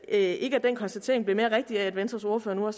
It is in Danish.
ikke at den konstatering er blevet mere rigtig af at venstres ordfører nu er